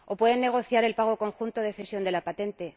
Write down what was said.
O pueden negociar el pago conjunto de cesión de la patente.